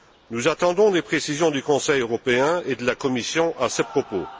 Nous attendons les précisions du Conseil européen et de la Commission à ce propos.